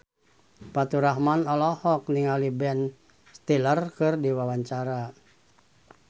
Faturrahman olohok ningali Ben Stiller keur diwawancara